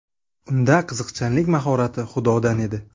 Unda qiziqchilik mahorati Xudodan edi.